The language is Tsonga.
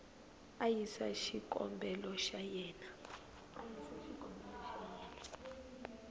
a yisa xikombelo xa yena